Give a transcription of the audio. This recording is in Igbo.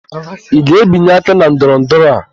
Ị ga-ebinye aka na ndọrọndọrọ a?